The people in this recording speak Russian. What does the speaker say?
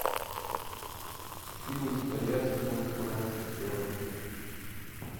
фильм с боярским про мушкетеров